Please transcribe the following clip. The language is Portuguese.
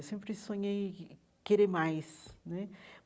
Eu sempre sonhei querer mais né.